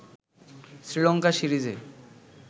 শ্রীলঙ্কা সিরিজে